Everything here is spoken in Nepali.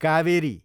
कावेरी